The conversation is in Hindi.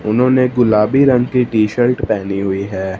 उन्होंने गुलाबी रंग की टी शर्ट पहनी हुई है।